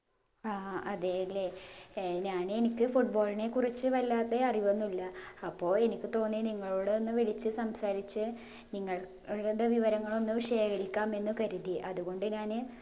ആ അതെയല്ലേ ഏർ ഞാന് എനിക്ക് football നെ കുറിച്ച് വല്ലാതെ അറിവൊന്നുല്ല അപ്പൊ എനിക്ക് തോന്നി നിങ്ങളോട് ഒന്ന് വിളിച്ച് സംസാരിച്ച് നിങ്ങൾ നിങ്ങൾടെ വിവരങ്ങളൊന്നു ശേഖരിക്കാം എന്ന് കരുതി അതുകൊണ്ട് ഞാന്